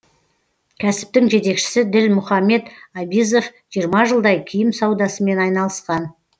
кәсіптің жетекшісі ділмұхамед абизов жиырма жылдай киім саудасымен айналысқан